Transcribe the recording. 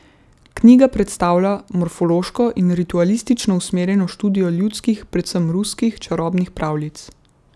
Knjiga predstavlja morfološko in ritualistično usmerjeno študijo ljudskih, predvsem ruskih, čarobnih pravljic.